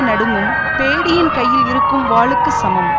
நடுங்கும் பேடியின் கையில் இருக்கும் வாளுக்குச் சமம்